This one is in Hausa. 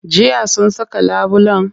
Jiya sun saka labulen?